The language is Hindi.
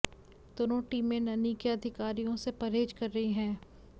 दोनों टीमें ननि के अधिकारियों से परहेज कर रही हैं